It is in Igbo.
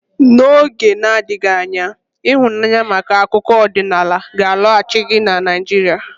N'oge na-adịghị anya ịhụnanya maka akụkọ ọdịnala ga-alọghachi na Naijiria.